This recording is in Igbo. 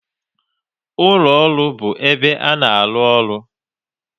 Ụlọ ọrụ bụ ebe a na-arụ ọrụ